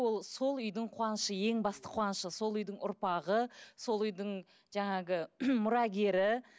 ол сол үйдің қуанышы ең басты қуанышы сол үйдің ұрпағы сол үйдің жаңағы мұрагері